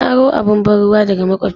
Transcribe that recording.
Na aro abun ban'ruwa daga makwabcina.